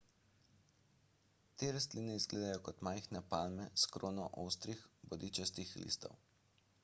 te rastline izgledajo kot majhne palme s krono ostrih bodičastih listov